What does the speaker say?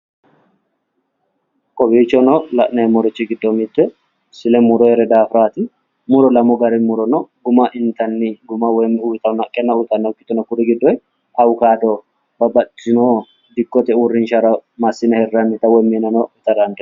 Kowiichono la'neemmorichi giddo silemuroyere daafiraati. Muro lamu gari muro no. Guma intanni woyi uyitanno haqqenna uytannokkiti no. Kuri giddoye awukaado babbaxxitino dikkote uurrinshara massine hirrannita woyi mineno ita dandiinannita.